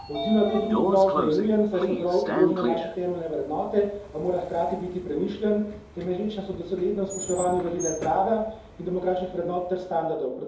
Odziv na to grožnjo je nujen, saj so ogrožene naše temeljne vrednote, a mora hkrati biti premišljen, temelječ na doslednem spoštovanju vladavine prava in demokratičnih vrednot ter standardov.